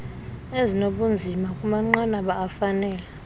ezinobunzima kumanqanaba afanele